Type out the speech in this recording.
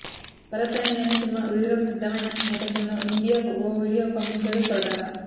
భరత్ అనే నేను సినిమా విడుదల కు సిద్దమైన నేపథ్యంలో మీడియాకు ఓ వీడియో పంపించాడు కొరటాల